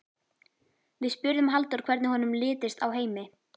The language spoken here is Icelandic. Við spurðum Halldór hvernig honum litist á Heimi?